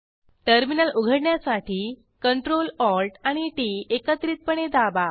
terminal उघडण्यासाठी Ctrl Alt आणि T एकत्रितपणे दाबा